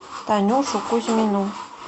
танюшу кузьмину